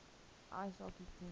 ice hockey team